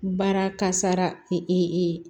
Baara kasara